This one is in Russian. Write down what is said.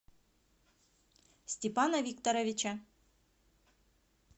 степана викторовича